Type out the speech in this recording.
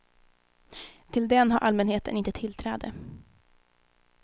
Till den har allmänheten inte tillträde.